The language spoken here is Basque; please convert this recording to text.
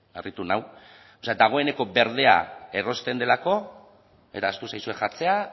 harritu nau o sea dagoeneko berdea erosten delako eta ahaztu zaizue jartzea